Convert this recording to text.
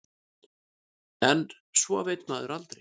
En svo veit maður aldrei.